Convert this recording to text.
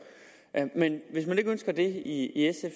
men hvis man ikke ønsker det i sf